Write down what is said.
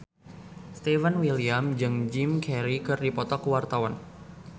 Stefan William jeung Jim Carey keur dipoto ku wartawan